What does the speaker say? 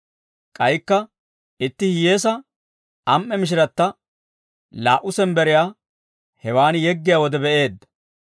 K'aykka itti hiyyeesaa am"e mishiratta laa"u sembberiyaa hewaan yeggiyaa wode be'iide,